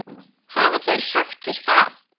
Hafa þeir sagt þér það?